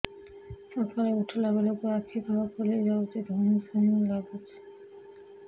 ସକାଳେ ଉଠିଲା ବେଳକୁ ଆଖି ତଳ ଫୁଲି ଯାଉଛି ଧଇଁ ସଇଁ ଲାଗୁଚି